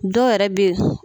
Dɔw yɛrɛ be.